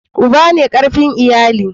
Uba ne karfin iyali.